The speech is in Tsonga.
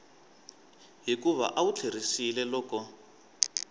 hikuva a wu tlheriseli loko